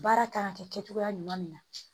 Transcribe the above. Baara kan ka kɛ kɛcogoya ɲuman min na